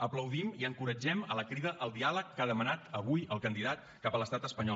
aplaudim i encoratgem la crida al diàleg que ha demanat avui el candidat cap a l’estat espanyol